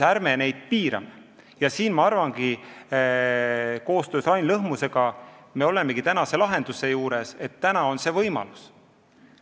Ma arvan, et koostöös Rain Lõhmusega me olemegi saanud tänase lahenduse ja on see võimalus.